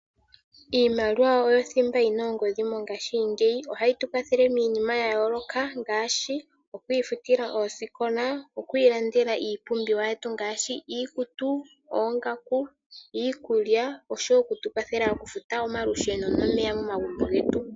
Iimaliwa oyo othimba yina ongodhi mongashingeyi, ohayi tu kwathele miinima ya yooloka ngaashi okufuta oosikola, okulanda iikulya, oongaku oshowo okufuta olusheno nomeya momagumbo getu.